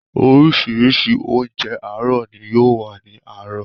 Oríṣiríṣi oúnjẹ àárọ̀ ni yóò wà ní àárọ̀.